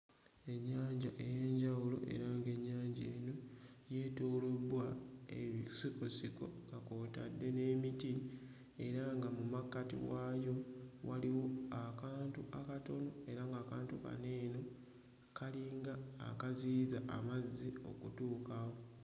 Ennyanja ey'enjawulo era ng'ennyanja eno yeetoolobbwa ebisikosiko nga kw'otadde n'emiti era nga mu makkati waayo waliwo akantu akatono era ng'akantu kano eno kalinga akaziyiza amazzi okutuukawo.